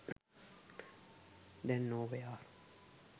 දැන් නෝ වෙයාර්.